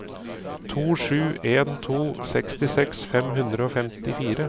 to sju en to sekstiseks fem hundre og femtifire